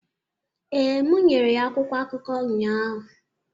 ee, m nyere ya akwụkwọ akụkọ ụnyahụ